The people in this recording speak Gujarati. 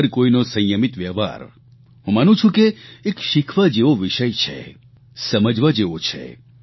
હર કોઇનો સંયમિત વ્યવહાર હું માનું છું કે એક શીખવા જેવો વિષય છે સમજવા જેવો છે